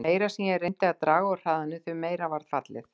Því meira sem ég reyndi að draga úr hraðanum, því meira varð fallið.